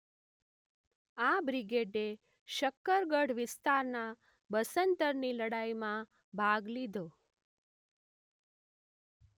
આ બ્રિગેડે શક્કરગઢ વિસ્તારના બસન્તરની લડાઈમાં ભાગ લીધો.